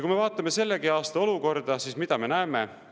Kui me vaatame selle aasta olukorda, siis mida me näeme?